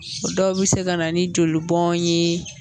O dɔw bɛ se ka na ni joli bɔn ye